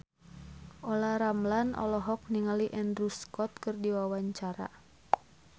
Olla Ramlan olohok ningali Andrew Scott keur diwawancara